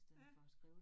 Ja